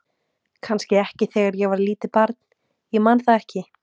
Kannski ekki þegar ég var lítið barn, ég man það ekki.